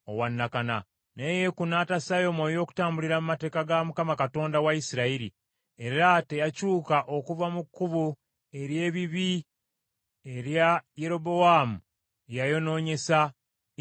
Naye Yeeku n’atassaayo mwoyo okutambulira mu mateeka ga Mukama Katonda wa Isirayiri. Era teyakyuka okuva mu kkubo ery’ebibi erya Yerobowaamu, lye yayonoonyesa Isirayiri.